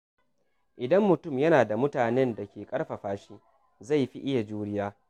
Idan mutum yana da mutanen da ke ƙarfafa shi, zai fi iya juriya.